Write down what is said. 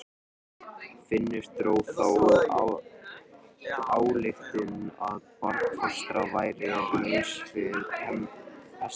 Finnur dró þá ályktun að barnfóstran væri laus við pestina.